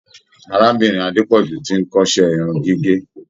Arábìnrin Adepoju ti n kọsẹ irun gígé.